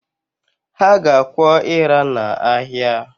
Ha ga-akwọ ịra n’ahịa